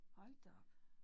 Hold da op